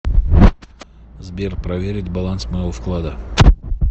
сбер проверить баланс моего вклада